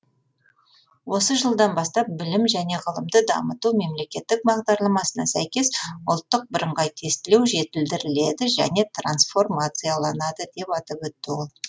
осы жылдан бастап білім және ғылымды дамыту мемлекеттік бағдарламасына сәйкес ұлттық бірыңғай тестілеу жетілдіріледі және трансформацияланады деп атап өтті ол